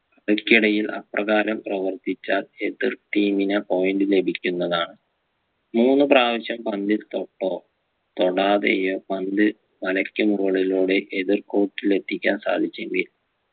കളിക്കിടയിൽ അപ്രകാരം ആവർത്തിച്ചാൽ എതിർ team ന് point ലഭിക്കുന്നതാണ് മൂന്ന് പ്രാവശ്യം പന്തിൽ തൊട്ടോ തൊടാതെയോ പന്ത് വലക്കു മുകളിലൂടെ എതിർ court ൽ എത്തിക്കാൻ സാധിച്ചെങ്കിലും